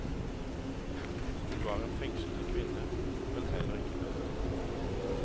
Hun var en fengslende kvinne, men heller ikke mer.